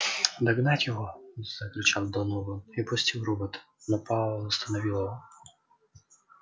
догнать его закричал донован и пустил робота но пауэлл остановил его